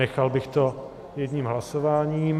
Nechal bych to jedním hlasováním.